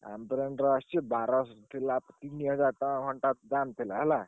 Ambrane ର ଆସଚି ବାରସ ଥିଲା ତିନିହଜାର ଟଙ୍କା ଘଣ୍ଟାର ଦାମ୍ ଥିଲା ହେଲା।